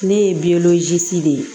Ne ye de ye